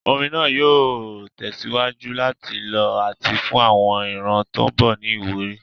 Orin náà yóò tẹ̀síwájú láti lọ àti fún àwọn ìran tó ń bọ̀ ní ìwúrí.